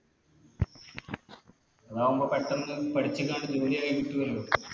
അതാവുമ്പോ പെട്ടന്ന് തന്നെ പഠിച്ചങ്ങാണ് ജോലി ആയി കിട്ടുവല്ലോ